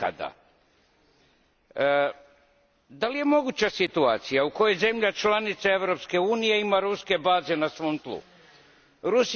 Da li je moguća situacija u kojoj zemlje članice Europske unije imaju na svom tlu ruske baze?